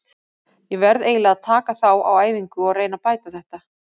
Ég verð eiginlega að taka þá á æfingu og reyna að bæta þetta.